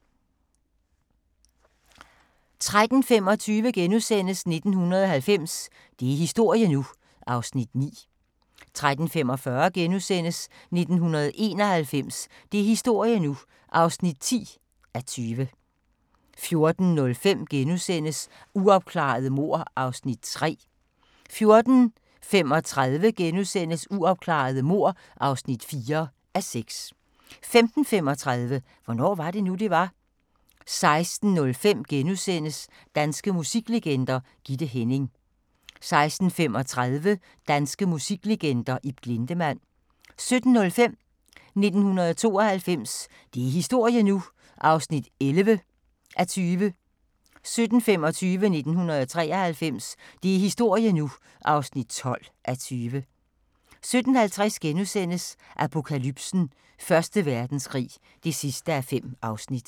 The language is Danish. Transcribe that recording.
13:25: 1990 – det er historie nu! (9:20)* 13:45: 1991 – det er historie nu! (10:20)* 14:05: Uopklarede mord (3:6)* 14:35: Uopklarede mord (4:6)* 15:35: Hvornår var det nu, det var? 16:05: Danske musiklegender: Gitte Hænning * 16:35: Danske musiklegender: Ib Glindemann 17:05: 1992 – det er historie nu! (11:20) 17:25: 1993 – det er historie nu (12:20) 17:50: Apokalypsen: Første Verdenskrig (5:5)*